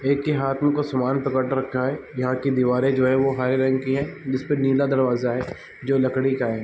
एक के हाथ में कुछ सामान पकड़ रखा है यहाँ की दीवारे जो है वो हरे रंग की है जिसमे नीला दरवाजा है जो लकड़ी का है।